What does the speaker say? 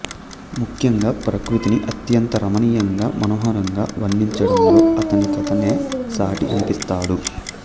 ముఖ్యంగా ప్రకృతిని అత్యంత రమణీయంగా మనోహరంగా వర్ణించడంలో అతనికతనే సాటి అనిపిస్తాడు